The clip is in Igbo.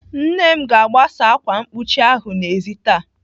Nne m ga-agbasa ákwà mkpuchi ahụ n'ezi taa.